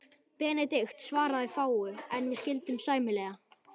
Benedikt svaraði fáu, en við skildum sæmilega.